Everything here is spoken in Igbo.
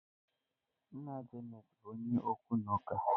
Nna Janet bụ onye okwu na ụka.